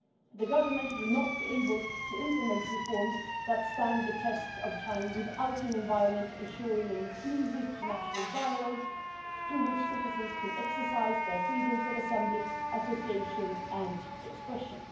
The Government will not be able to implement reforms that stand the test of time without an environment that ensures an inclusive national dialogue through which citizens can exercise their freedoms of assembly, association and expression.